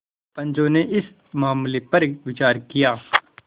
पंचो ने इस मामले पर विचार किया